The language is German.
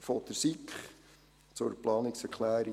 der SiK. Zur Planungserklärung